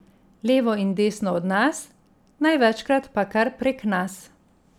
Levo in desno od nas, največkrat pa kar prek nas.